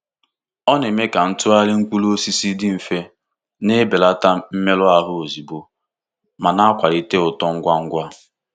Ọ na-eme ka ịtụgharị mkpụrụ osisi dị mfe, na-ebelata mmerụ ahụ ozugbo, ma na-akwalite uto ngwa ngwa.